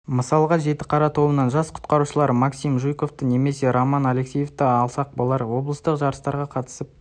мысалға жітіқара тобынан жас құтқарушылар максим жуйковты немесе роман алексеевті алсақ балалар облыстық жарыстарға қатысып